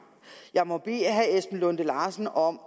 jeg må bede herre esben lunde larsen om